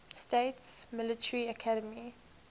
states military academy